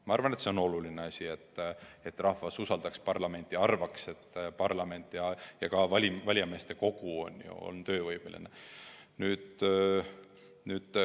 Ma arvan, et on oluline, et rahvas usaldaks parlamenti ja arvaks, et nii parlament kui ka valijameeste kogu on töövõimelised.